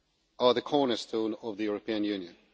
are the cornerstone of the European Union.